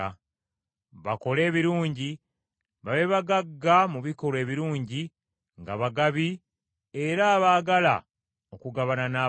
bakole ebirungi, babe bagagga mu bikolwa ebirungi, nga bagabi, era abaagala okugabana n’abalala.